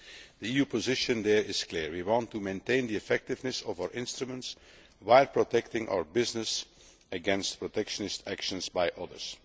The EU position there is clear we want to maintain the effectiveness of our instruments while protecting our business against protectionist actions by others.